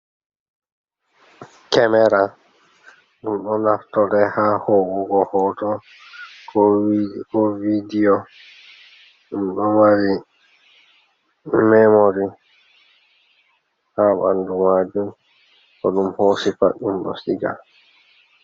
Kemera, ɗum ɗo naftore ha ho'ugo hooto, ko vidiyo, ɗum ɗo mari memori ha ɓandu maajum, ko ɗum hoosi pat ɗum ɗo siga.